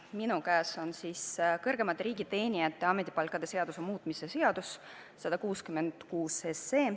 Minu käes on kõrgemate riigiteenijate ametipalkade seaduse muutmise seaduse eelnõu 166.